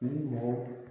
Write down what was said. Ni mɔgɔ